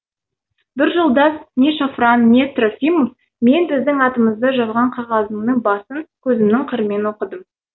бір жолдас не шафран не трофимов мен біздің атымызды жазған қағазының басын көзімнің қырымен оқыдым